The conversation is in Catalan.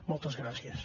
moltes gràcies